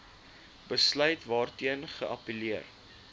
besluit waarteen geappelleer